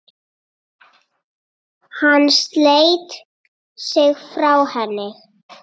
Hann sleit sig frá henni.